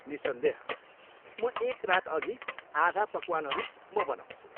निस्सन्देह, म एक रातअघि आधा पकवानहरू म बनाउँछु।